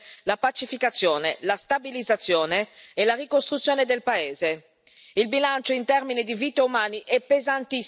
una soluzione che abbia come prospettiva di lungo termine la pacificazione, la stabilizzazione e la ricostruzione del paese.